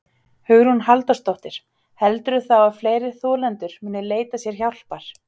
Hugrún Halldórsdóttir: Heldurðu þá að fleiri þolendur muni leita sér hjálpar?